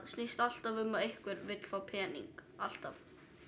snýst alltaf um að einhver vill fá pening alltaf